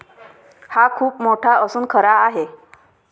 हा खूप मोठा असून खरा आहे.